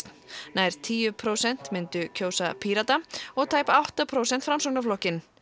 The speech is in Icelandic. nær tíu prósent myndu kjósa Pírata og tæp átta prósent Framsóknarflokkinn